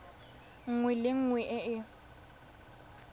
nngwe le nngwe e e